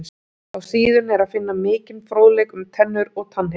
Á síðunni er að finna mikinn fróðleik um tennur og tannhirðu.